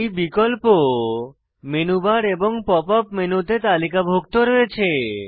এই বিকল্প menu bar এবং পপ আপ মেনুতে তালিকাভুক্ত রয়েছে